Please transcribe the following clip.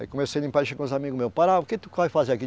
Aí comecei limpar e chegou uns amigo meu, Pará, o que tu vai fazer aqui?